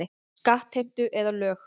Skattheimtu eða lög.